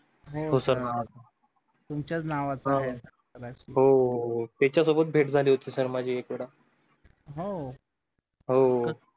ठोसर नावाचा तुमचेच नावाचा हो त्याच्यासोबत भेट झाली होती sir माझी एकदा हो हो